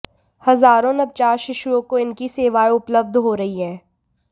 हजारों नवजात शिशुओं को इनकी सेवाएं उपलब्ध हो रही हैं